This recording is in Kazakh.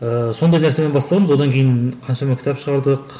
ыыы сондай нәрсемен бастағанбыз одан кейін қаншама кітап шығардық